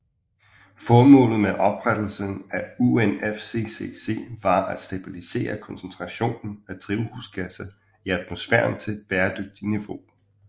Formålet med oprettelsen af UNFCCC var at stabilisere koncentrationen af drivhusgasser i atmosfæren til et bæredygtigt niveau